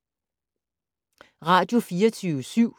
Radio24syv